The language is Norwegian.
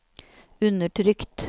undertrykt